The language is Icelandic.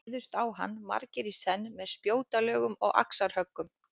Þeir réðust á hann margir í senn með spjótalögum og axarhöggum.